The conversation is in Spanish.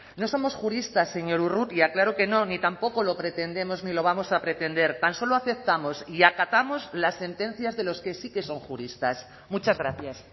no somos juristas señor urrutia claro que no ni tampoco lo pretendemos ni lo vamos a pretender tan solo aceptamos y acatamos las sentencias de los que sí que son juristas muchas gracias